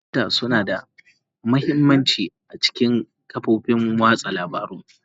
Data suna da mahimmanci a cikin kafofin watsa labarun.